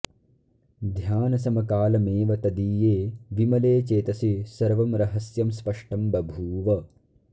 ध्यानसमकालमेव तदीये विमले चेतसि सर्वं रहस्यं स्पष्टं बभूव